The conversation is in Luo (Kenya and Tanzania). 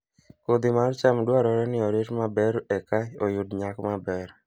Kodhi mar cham dwarore ni orit maber mondo eka oyud nyak maber